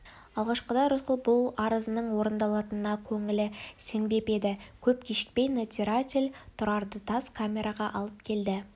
алғашқыда рысқұл бұл арызының орындалатынына көңілі сенбеп еді көп кешікпей надзиратель тұрарды тас камераға алып келді